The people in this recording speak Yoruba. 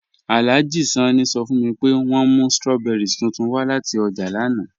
Alhaji Sanni sọ́ fun mi pé wọn mú strawberries tuntun wa lati ọ́jà lánà